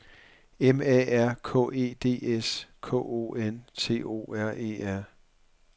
M A R K E D S K O N T O R E R